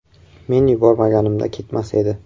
Men yubormaganimda ketmas edi.